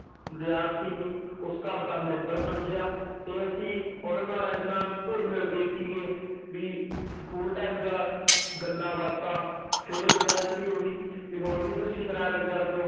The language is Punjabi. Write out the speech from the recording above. ਵਿਦਿਆਰਥੀ ਨੀ ਉਸ ਘਰ ਦਾ ਮੈਂਬਰ ਸਮਝਿਆ ਤੇ ਅਸੀਂ ਉਹਨਾਂ ਨਾਲ ਇੰਨਾ ਘੁੱਲ ਮਿਲ ਗਏ ਸੀਗੇ ਵੀ school time ਦਾ ਗੱਲਾਂ ਬਾਤਾਂ ਫਿਰ ਵਿਆਹ ਚ ਵੀ ਉਹੀ ਵੀ ਹੁਣ ਵੀ ਤੁਸੀਂ ਸਰਾਰਤ ਕਰਦੇ ਹੋ